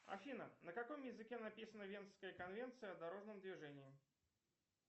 афина на каком языке написана венская конвенция о дорожном движении